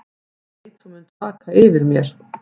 Ég veit þú munt vaka yfir mér.